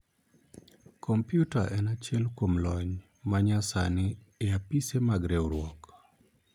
komputa en achiel kuom lony ma nya sani e apise mag riwruok